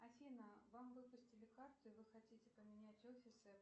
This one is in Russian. афина вам выпустили карту и вы хотите поменять офисы